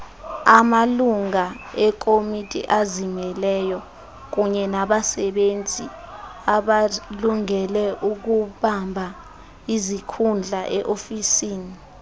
amalunguekomitiazimeleyo kunyenabasebenzibakulungeleukubambaizikhundlae ofisini